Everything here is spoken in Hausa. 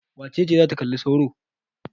Wace ce za ta kalli sauro?